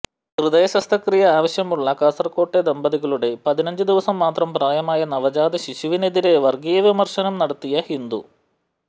ഹൃദയ ശസ്ത്രക്രിയ ആവശ്യമുള്ള കാസര്കോട്ടെ ദമ്പതികളുടെ പതിനഞ്ച് ദിവസം മാത്രം പ്രായമായ നവജാത ശിശുവിനെതിരേ വര്ഗീയ പരാമര്ശം നടത്തിയ ഹിന്ദു